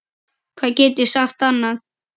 Hvað get ég sagt annað?